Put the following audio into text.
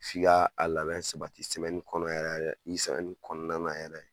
F'i ka a labɛn sabati kɔnɔ yɛrɛ nin kɔnɔna yɛrɛ